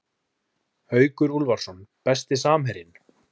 Haukur Úlfarsson Besti samherjinn?